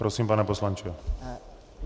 Prosím, pane poslanče.